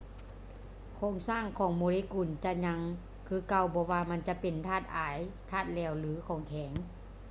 ໂຄງສ້າງຂອງໂມເລກຸນຈະຍັງຄືເກົ່າບໍ່ວ່າມັນຈະເປັນທາດອາຍ ທາດແຫຼວ ຫຼື ຂອງແຂງ